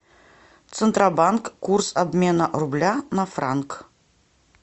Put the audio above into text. центробанк курс обмена рубля на франк